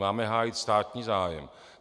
Máme hájit státní zájem.